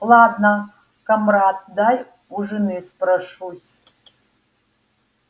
ладно камрад дай у жены спрошусь